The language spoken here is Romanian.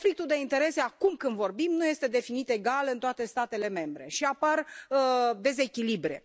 Conflictul de interese acum, când vorbim, nu este definit egal în toate statele membre și apar dezechilibre.